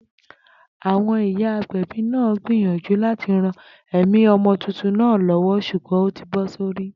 Àwo̩n ìyá agbè̩bí náà gbìyànjú láti ran è̩mí o̩mo̩ tuntun náà lówó s̩ùgbó̩n ó ti bó̩ sórí